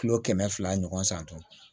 Kilo kɛmɛ fila ɲɔgɔn san tɔn